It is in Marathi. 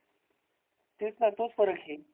तेच ना तोच फरक आहे.